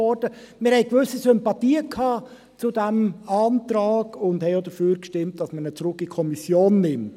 Wir hatten gewisse Sympathien für diesen Antrag und stimmten auch dafür, dass man ihn zurück in die Kommission nimmt.